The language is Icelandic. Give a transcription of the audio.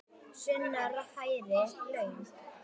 Sunna: Hærri laun?